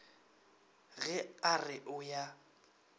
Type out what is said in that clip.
ge a re o ya